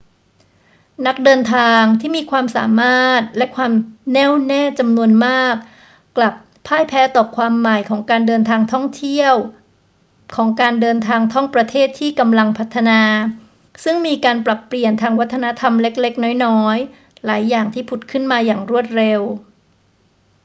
นักเดินทางที่มีความสามารถและความแน่วแน่จำนวนมากกลับพ่ายแพ้ต่อความใหม่ของการเดินทางท่องประเทศที่กำลังพัฒนา ซึ่งมีการปรับเปลี่ยนทางวัฒนธรรมเล็ก ๆ น้อย ๆ หลายอย่างที่ผุดขึ้นมาอย่างรวดเร็ว